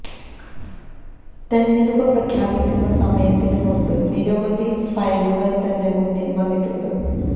തെരഞ്ഞെടുപ്പ് പ്രഖ്യാപിക്കുന്ന സമയത്തിന് മുന്പ് നിരവധി ഫയലുകള് തന്റെ മുന്നില് വന്നിട്ടുണ്ട്